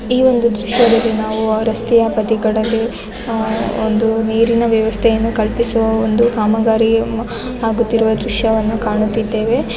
ಈ ಒಂದು ದೃಶ್ಯದಲ್ಲಿ ನಾವು ರಸ್ತೆಯ ಬದಿಗಳಲ್ಲಿ ಆಹ್ಹ್ ಒಂದು ನೀರಿನ ವ್ಯವಸ್ಥೆಯನ್ನು ಕಲ್ಪಿಸುವ ಒಂದು ಕಾಮಗಾರಿಯು ಆಗುತ್ತಿರುವ ದೃಶ್ಯವನ್ನು ಕಾಣುತ್ತಿದ್ದೇವೆ.